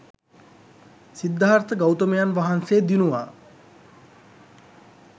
සිද්ධාර්ථ ගෞතමයන් වහන්සේ දිනුවා.